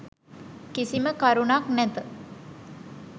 කිසිම කරුණක් නැත.